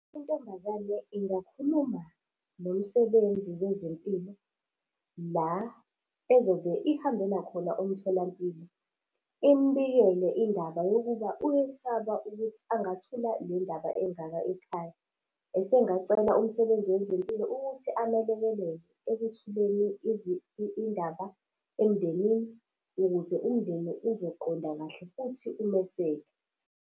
Intombazane ingakhuluma nomsebenzi wezempilo la ezobe ihambela khona umtholampilo, imubikele indaba yokuba uyesaba ukuthi angathola le ndaba engaka ekhaya. Esengacela umsebenzi wezempilo ukuthi amelekelele ekuthuleni indaba emndenini ukuze umndeni uzoqonda kahle futhi umeseke.